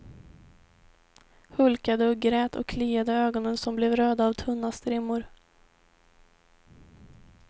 Hulkade och grät och kliade ögonen som blev röda av tunna strimmor.